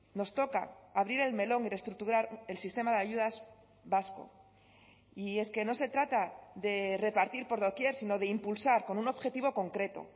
nos toca abrir el melón y reestructurar el sistema de ayudas vasco y es que no se trata de repartir por doquier sino de impulsar con un objetivo concreto